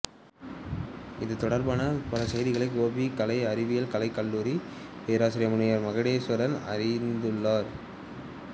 இது தொடர்பான பல செய்திகளை கோபி கலை அறிவியல் கலைக்கல்லுரரி பேராசிரியர் முனைவர் மகுடேஸ்வரன் அறியத்தந்துள்ளார்